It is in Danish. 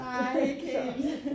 Nej ikke helt